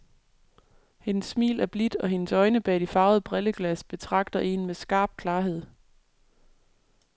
Hendes smil er blidt, og hendes øjne bag de farvede brilleglas betragter en med skarp klarhed.